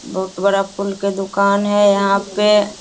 बहुत बडा फूल के दुकान हे यहा पे।